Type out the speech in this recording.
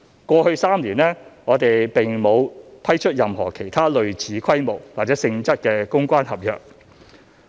過去3年，我們並沒有批出任何其他類似規模或性質的公關合約。